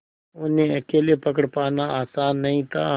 उन्हें अकेले पकड़ पाना आसान नहीं था